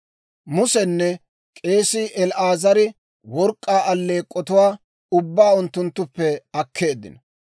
Musenne k'eesii El"aazari work'k'aa alleek'k'otuwaa ubbaa unttunttuppe akkeeddino.